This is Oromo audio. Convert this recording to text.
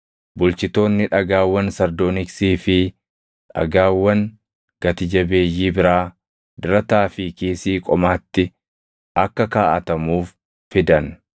Bulchitoonni dhagaawwan sardooniksii fi dhagaawwan gati jabeeyyii biraa dirataa fi kiisii qomaatti akka kaaʼatamuuf fidan.